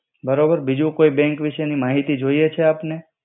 બરોબર બિજુ કોઇ બેંક વિસે નિ માહિતી જોઇએ કછે આપને